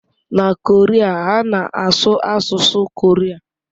Na Korea, ha na-asụ asụsụ Korea.